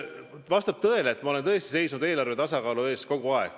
Vastab tõele, et ma olen kogu aeg tõesti seisnud eelarve tasakaalu eest.